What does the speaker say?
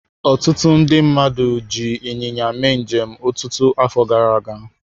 Ọtụtụ ndị mmadụ ji ịnyịnya mee njem ọtụtụ afọ gara aga.